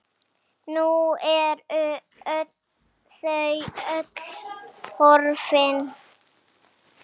Nú eru þau öll horfin.